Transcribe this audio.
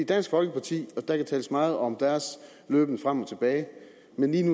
dansk folkeparti og der kan tales meget om deres løben frem og tilbage